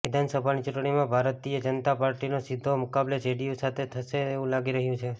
વિધાનસભાની ચૂંટણીમાં ભારતીય જનતા પાર્ટીનો સીધો મુકાબલો જેડીયુ સાથે થશે તેવું લાગી રહ્યું છે